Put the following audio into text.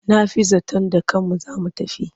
Na fi zaton da kanmu za mu tafi.